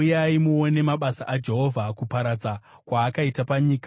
Uyai muone mabasa aJehovha, kuparadza kwaakaita panyika.